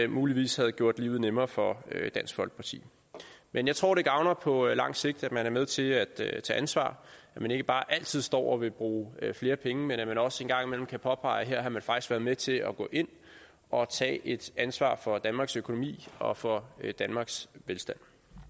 muligvis havde gjort livet nemmere for dansk folkeparti men jeg tror det gavner på lang sigt at man er med til at tage ansvar at man ikke bare altid står og vil bruge flere penge men at man også en gang imellem kan påpege at man faktisk været med til at gå ind og tage et ansvar for danmarks økonomi og for danmarks velstand